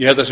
ég held að það séu